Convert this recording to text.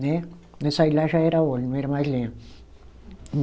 Né, quando eu saí de lá já era óleo, não era mais lenha.